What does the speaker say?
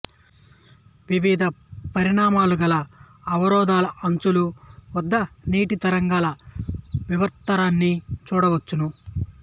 వివిధ పరిమాణాలుగల అవరోధాల అంచుల వద్ద నీటి తరంగాల వివర్తనాన్ని చుడవచ్చును